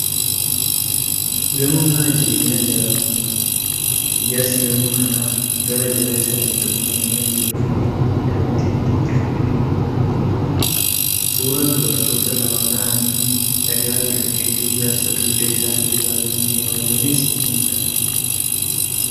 Gamoo mana jireenyaa ijaaramaa jiru. Ijaarsi gamoo kanaa gara jala isaatiin xumuramee kan jiruu fi daawwitiin itti tolfamee kan jirudha. Suuraan dubartoota lama ta'anii dhagaa bilookkeettii ijaarsaa dugda isaaniitti baatanii deemaa jiraniis ni mul'ata.